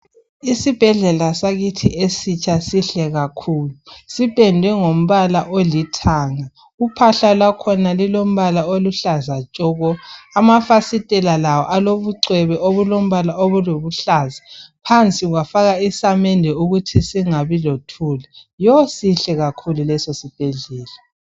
Isibhedlela sakithi esitsha sihle kakhulu! Sipendwe ngombala olithanga. Uphahla lwakhona lulombala oluhlaza tshoko! Amafasitela lawo alobucwebe, obulombala obulobuhlaza. Phansi kwafakwa isamende ukuthi singabi lothuli. Yo-o! Sihle kakhulu lesosibhedlela!